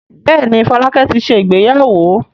Bẹ́ẹ̀ ni, Fọlákẹ́ ti ṣe ìgbéyàwó.